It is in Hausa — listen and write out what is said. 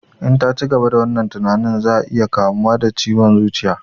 In ta cigaba da wannan tinanin za ya iya kamuwa da ciwon zuciya